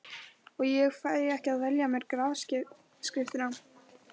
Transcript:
Og ég fæ ekki að velja mér grafskriftina.